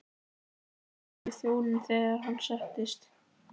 sagði hann við þjóninn þegar hann settist.